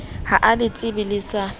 ha a letsebe le sa